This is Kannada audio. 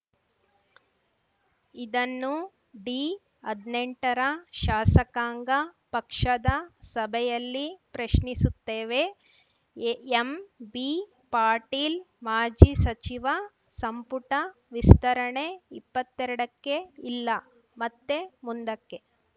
ಇದನ್ನು ಡಿಹದ್ನೆಂಟರ ಶಾಸಕಾಂಗ ಪಕ್ಷದ ಸಭೆಯಲ್ಲಿ ಪ್ರಶ್ನಿಸುತ್ತೇವೆ ಎಂಬಿಪಾಟೀಲ್‌ ಮಾಜಿ ಸಚಿವ ಸಂಪುಟ ವಿಸ್ತರಣೆ ಇಪ್ಪತ್ತೆರಡಕ್ಕೆ ಇಲ್ಲ ಮತ್ತೆ ಮುಂದಕ್ಕೆ